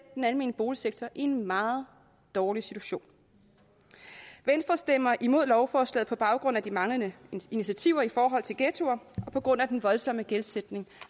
den almene boligsektor i en meget dårlig situation venstre stemmer imod lovforslaget på baggrund af de manglende initiativer i forhold til ghettoer og på grund af den voldsomme gældsætning